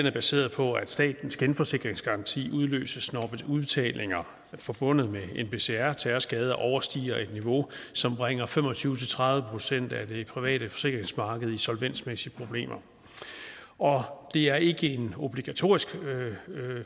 er baseret på at statens genforsikringsgaranti udløses når udbetalinger forbundet med nbcr terrorskader overstiger et niveau som bringer fem og tyve til tredive procent af det private forsikringsmarked i solvensmæssige problemer det er ikke obligatorisk